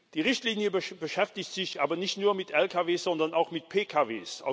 Die Richtlinie beschäftigt sich aber nicht nur mit Lkw, sondern auch mit Pkw.